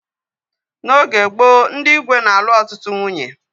N'oge gboo, ndị igwe na-alu ọtụtụ nwunye